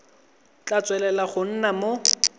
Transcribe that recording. tla tswelela go nna mo